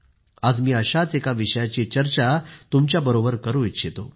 आज मी अशाच एका विषयाची चर्चा तुमच्याबरोबर करू इच्छितो